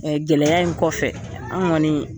Gɛlɛya in kɔfɛ, an kɔni